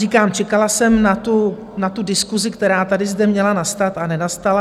Říkám, čekala jsem na tu diskusi, která tady zde měla nastat a nenastala.